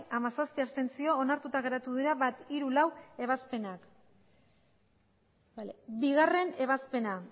hamazazpi abstentzio onartuta geratu dira bat hiru eta laugarrena ebazpenak bigarrena ebazpena